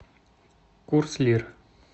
курс лир